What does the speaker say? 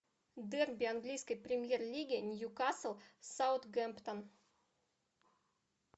дерби английской премьер лиги ньюкасл саутгемптон